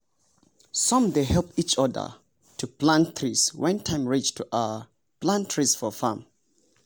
some dey help each other to plant trees when time reach to um plant trees for farm.